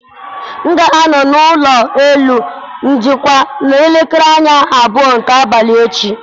M ga-anọ n'ụlọ elu njikwa n'elekere anya abụọ nke abalị echi.